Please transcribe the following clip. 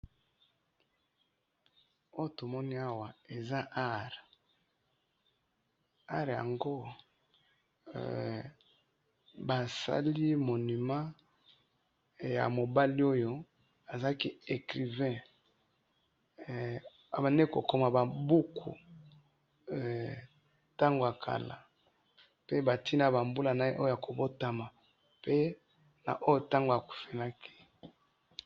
oyo tomoni awa eza art art yango basali onument ya mobali oyo azalaki ecrivain abandi kokoma babuku tango ya kala batiye pe tango abotamaki pe na tango akufelaki